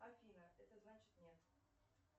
афина это значит нет